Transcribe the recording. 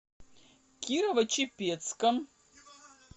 кирово чепецком